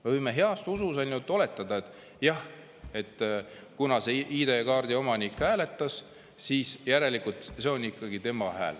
Me võime heas usus ainult oletada, et jah, kuna see ID-kaardi omanik hääletas, siis järelikult see on ikkagi tema hääl.